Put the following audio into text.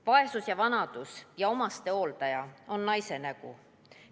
Vaesus ja vanadus ja omastehooldus on naise nägu.